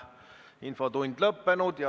Infotund on lõppenud.